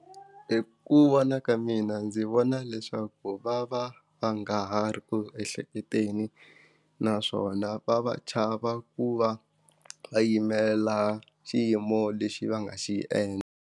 Hi ku vona ka mina ndzi vona leswaku va va va nga ha ri ku ehleketeni naswona va va chava ku va yimela xiyimo lexi va nga xi endla.